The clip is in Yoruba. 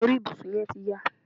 Aṣọ orí ibùsùn yẹ́n ti ya